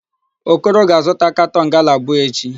Okoro ga-azụta katọn gala abụọ echi.